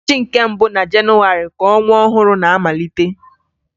Ụbọchị nke mbụ na Jenuwarị ka ọnwa ọhụrụ na-amalite